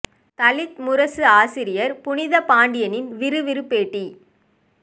தலித் முரசு ஆசிரியர் புனித பாண்டியனின் விறுவிறு பேட்டி